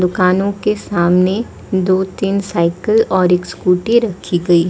दुकानों के सामने दो तीन साइकिल और एक स्कूटी रखी गई--